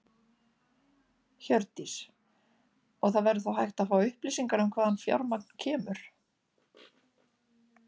Hjördís: Og það verður þá hægt að fá upplýsingar um hvaðan fjármagn kemur?